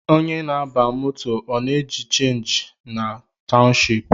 Onye na-aba moto ọ na-eji chenji na townshipu?